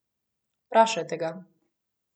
Vprašajte ga.